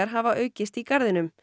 hafa aukist í garðinum